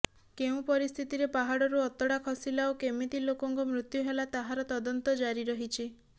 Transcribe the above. କେଉଁ ପରିସ୍ଥିତିରେ ପାହାଡ଼ରୁ ଅତଡ଼ା ଖସିଲା ଓ କେମିତି ଲୋକଙ୍କ ମୃତ୍ୟୁ ହେଲା ତାହାର ତଦନ୍ତ ଜାରି ରହିଛି